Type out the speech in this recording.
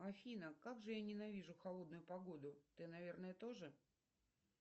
афина как же я ненавижу холодную погоду ты наверное тоже